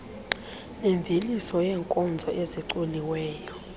nemveliso yeenkozo ezicoliweyo